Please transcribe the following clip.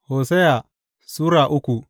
Hosiya Sura uku